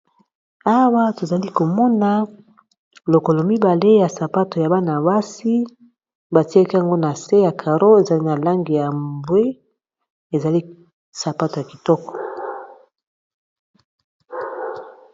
Awa tozali komona lokolo mibale ya sapato ya bana basi ba tiaki yango na se ya caro ezali na langi ya mbwe ezali sapato ya kitoko.